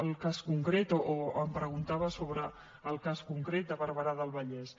el cas concret o em preguntava sobre el cas concret de barberà del vallès